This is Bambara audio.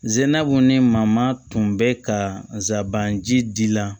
Zenabugu ni mamana tun bɛ ka zaban ji la